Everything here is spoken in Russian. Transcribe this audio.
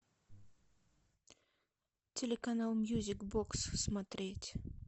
телеканал мьюзик бокс смотреть